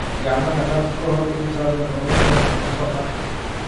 Gacmaha dhaq ka hor intaadan cunin wax cunto ah.